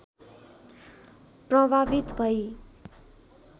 प्रभावित भई